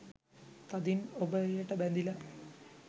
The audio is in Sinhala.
තදින් ඔබ එයට බැඳිලා.